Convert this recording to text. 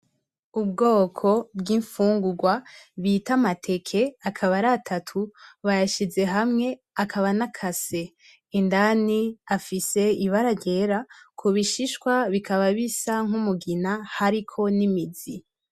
Ubwoko bw'imfungurwa bita amateke, akaba ari atatu, bayashize hamwe akaba anakase, indani hafise ibara ryera, kubishishwa bikaba bisa nk'umugina hariko n'imizi.